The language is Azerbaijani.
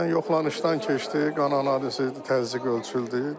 Yəni yoxlanışdan keçdik, qan analizi, təzyiq ölçüldü.